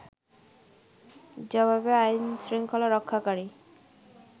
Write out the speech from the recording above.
জবাবে আইনশৃঙ্খলা রক্ষাকারী